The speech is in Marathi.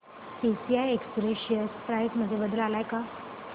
टीसीआय एक्सप्रेस शेअर प्राइस मध्ये बदल आलाय का